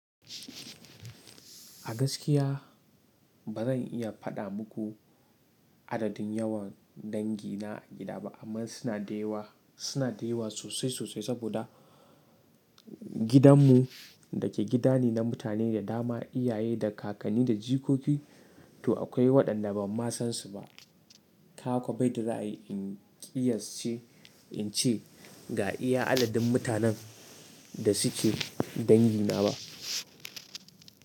A gaskiya ba zan iya faɗa muku adadin yawan dangi na a gida ba, amma suna da yawa, suna da yawa sosai sosai saboda gidanmu da ke gidane na mutane da dama, iyaye da kakanni da jikoki, to akwai waɗanda ban ma san su ba. Kaga ko bayadda zai ai rai in kiyasce ce, in ce ga iya adadin mutanen da suke dangina ba.